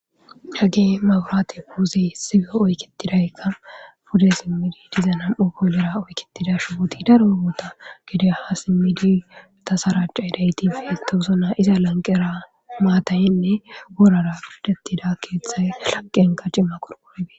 Hegge maburaate puuzey sige oykitidaykka pude simmidi diza nam7u boolera oyketida shuwooti daro yogoota gede ha simmidi ta sarachaidaytifi towosona iza lanqera maatayenne woorara piradettida keeththay laqenka cima qurqorabe